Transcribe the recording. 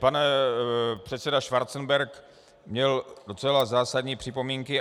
Pan předseda Schwarzenberg měl docela zásadní připomínky.